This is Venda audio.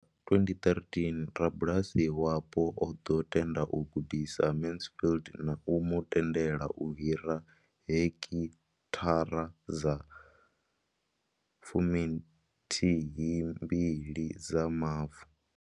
Nga 2013, rabulasi wapo o ḓo tenda u gudisa Mansfield na u mu tendela u hira heki thara dza fumi nthihi mbili dza mavu.